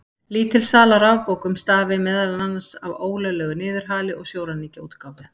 Lítil sala á rafbókum stafi meðal annars af ólöglegu niðurhali og sjóræningjaútgáfu.